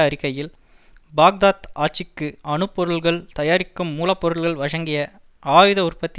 அறிக்கையில் பாக்தாத் ஆட்சிக்கு அணு பொருட்கள் தயாரிக்கும் மூலப்பொருட்கள் வழங்கிய ஆயுத உற்பத்தி